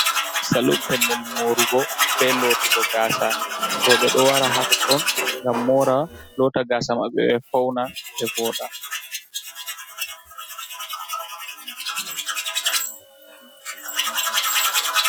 Salum, pellel moorugo be lootugo gaasa. Rowɓe ɗo wara haa totton ngam moora, loota gaasa maɓɓe, ɓe fauna, ɓe vooɗa.